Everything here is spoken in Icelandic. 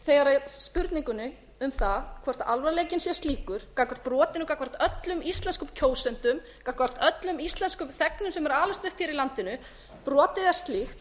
þegar spurningunni um það hvort alvarleiki sé slíkur gagnvart brotinu gagnvart öllum íslenskum kjósendum gagnvart öllum íslenskum þegnum sem eru að alast upp hér í landinu brotið er slíkt